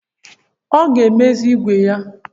Ọ ga-emezi ìgwè ya?